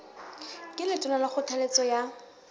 ke letona ka kgothaletso ya